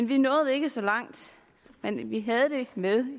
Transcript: vi nåede ikke så langt men vi havde det med